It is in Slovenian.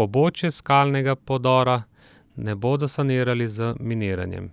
pobočja skalnega podora ne bodo sanirali z miniranjem.